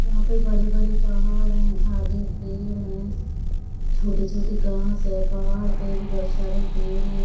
यहाँ पे बड़े-बड़े पहाड़ है आगे पेड़ है छोटे-छोटे घास है पहाड़ पे भी बोहत सारे पेड़ है ।